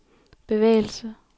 bevægelse